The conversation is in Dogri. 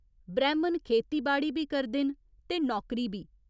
ब्रैह्‌मण खेतीबाड़ी बी करदे न ते नौकरी बी।